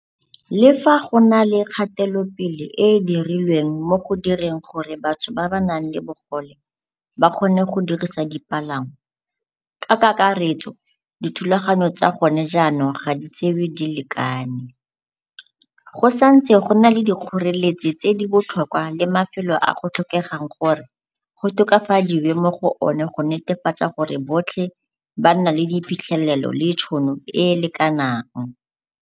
Le fa go na le kgatelopele e e dirilweng mo go direng gore batho ba ba nang le bogole ba kgone go dirisa dipalangwa. Ka kakaretso, dithulaganyo tsa gone jaanong ga di tsewe di lekane. Go sa ntse go na le dikgoreletsi tse di botlhokwa le mafelo a go tlhokegang gore go tokafadiwe mo go one go netefatsa gore botlhe ba nna le diphitlhelelo le tšhono e e lekanang.